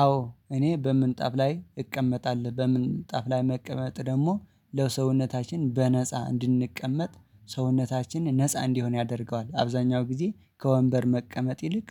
አዎ እኔ በምንጣፍ ላይ እቀመጣለሁ። በምንጣፍ ላይ መቀመጥ ደግሞ ለሰውነታችን በነፃ እንድንቀመጥ ሰውነታችን ነፃ እንዲሆን ያደርገዋል። አብዛኛው ጊዜ ከወንበር መቀመጥ ይልቅ